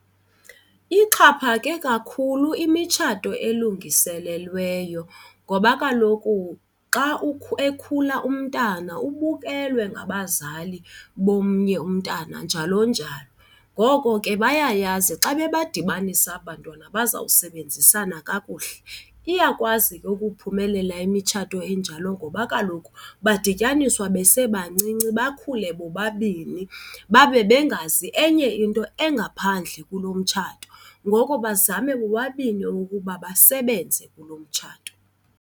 Ixhaphake kakhulu imitshato elungiselelweyo ngoba kaloku xa ekhula umntana ubukelwe ngabazali bomnye umntana njalo njalo. Ngoko ke bayayazi xa bebadibanisa aba abantwana bazawusebenzisana kakuhle. Iyakwazi ke ukuphumelela imitshato enjalo ngoba kaloku badityaniswa besebancinci bakhule bobabini babe bengazi enye into engaphandle kulo mtshato. Ngoko bazame bobabini ukuba basebenze kulo mtshato.